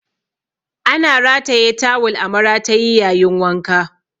Ana rataye tawul a maratayi yayin wanka.